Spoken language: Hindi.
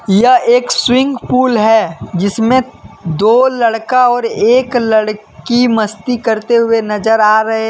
यह एक स्विमिंग पूल है जिसमें दो लड़का और एक लड़की मस्ती करते हुए नजर आ रहे हैं।